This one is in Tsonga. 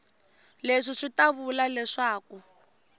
leswi swi ta vula leswaku